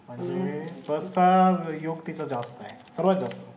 बस चा योग तिथे जात नाही